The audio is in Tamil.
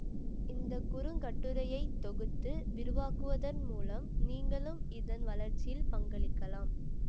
இந்த குறுங்கட்டுரையை தொகுத்து விரிவாக்குவதன் மூலம் நீங்களும் இதன் வளர்ச்சியில் பங்களிக்கலாம்